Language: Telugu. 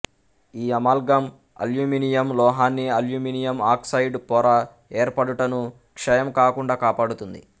ఈ అమాల్గం అల్యూమినియం లోహాన్ని అల్యూమినియం ఆక్సైడ్ పొర ఏర్పడుటను క్షయం కాకుండా కాపాడుతుంది